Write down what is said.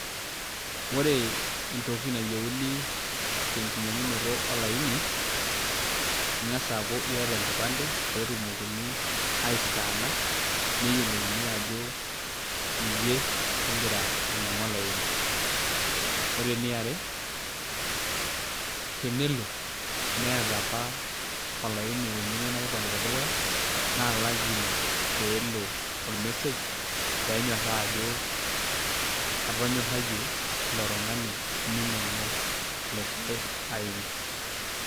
ore entoki nayieuni tenkinyiang'unoto olaini, ing'as aaku iata enkipande, pee etumokini ai scanner neyiolouni ajo, iyie ogira ainyiang'u olaini. ore eniare, tenelo niata apa olaini oinyiang'ua ina kipande tedukuya, naa lazima pee elo or message pee nyoraa ajo, atonyarayie ilo tungani meinyiang'u likae aini.